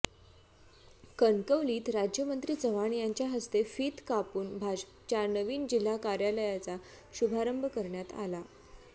कणकवलीत राज्यमंत्री चव्हाण यांच्या हस्ते फित कापून भाजपच्या नवीन जिल्हा कार्यालयाचा शुभारंभ करण्यात आला